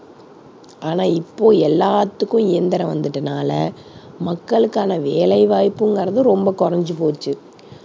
ஆனா இப்போ எல்லாத்துக்கும் இயந்திரம் வந்துட்டதுனால மக்களுக்கான வேலை வாய்ப்புங்கிறது ரொம்ப குறைஞ்சு போச்சு.